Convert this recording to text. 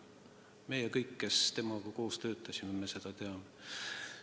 Meie kõik, kes temaga koos töötasime, seda teame.